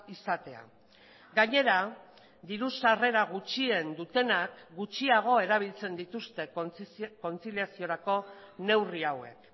izatea gainera diru sarrera gutxien dutenak gutxiago erabiltzen dituzte kontziliaziorako neurri hauek